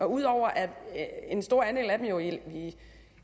ud over at en stor andel af dem jo i